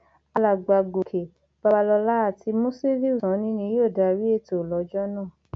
alàgbà gòkè babalọla àti musiliu sanni ni yóò darí ètò lọjọ náà